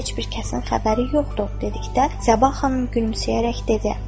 Heç bir kəsin xəbəri yoxdur, dedikdə Səbah xanım gülümsəyərək dedi.